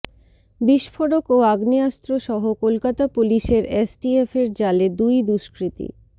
বিস্ফোরক ও আগ্নেয়াস্ত্র সহ কলকাতা পুলিশের এসটিএফের জালে দুই দুষ্কৃতী